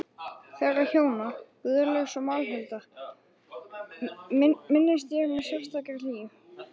Þeirra hjóna, Guðlaugs og Málhildar, minnist ég með sérstakri hlýju.